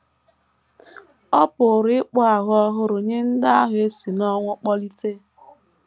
Ọ pụrụ ịkpụ ahụ ọhụrụ nye ndị ahụ e si n’ọnwụ kpọlite.